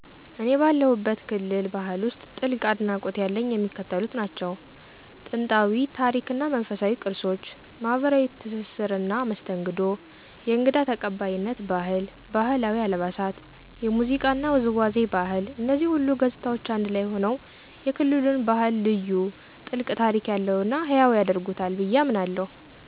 እኔ ባለሁበት ክልል ባህል ውስጥ ጥልቅ አድናቆት ያለኝ የሚከተሉት ናቸው፦ * ጥንታዊ ታሪክ እና መንፈሳዊ ቅርሶች * ማኅበራዊ ትስስርና መስተንግዶ * የእንግዳ ተቀባይነት ባህል: * ባህላዊ አልባሳት * የሙዚቃና ውዝዋዜ ባህል እነዚህ ሁሉ ገጽታዎች አንድ ላይ ሆነው የክልሉን ባህል ልዩ፣ ጥልቅ ታሪክ ያለውና ሕያው ያደርጉታል ብዬ አምናለሁ።